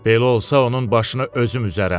Belə olsa onun başını özüm üzərəm.